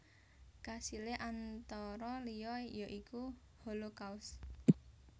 Kasilé antara liya ya iku Holocaust